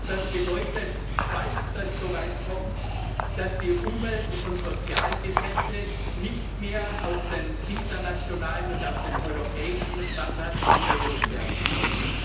Das bedeutet, falls es so weit kommt, dass die Umwelt und Sozialgesetze nicht mehr auf den internationalen und auf den europäischen Standard angehoben werden können.